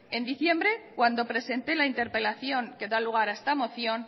en diciembre cuando presenté la interpelación que da lugar a esta moción